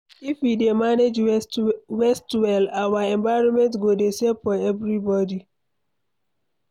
If we dey manage waste well, our environment go dey safe for everybody.